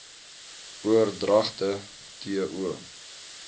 oordragte t o